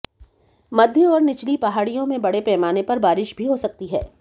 मध्य और निचली पहाड़ियों में बड़े पैमाने पर बारिश भी हो सकती है